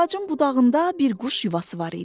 Ağacın budağında bir quş yuvası var idi.